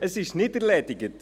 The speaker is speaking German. Es ist nicht erledigt.